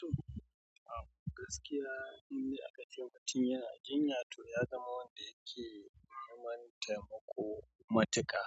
To, a gaskiya inde akace mutun yana, jinya to ya zama wanda yake neman taimako matuƙa.